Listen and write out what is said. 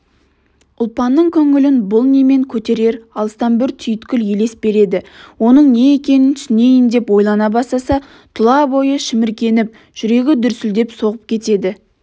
ұлпанның көңілін бұл немен көтерер алыстан бір түйткіл елес береді оның не екенін түсінейін деп ойлана бастаса тұла бойы шіміркеніп жүрегі дүрсілдеп соғып кетеді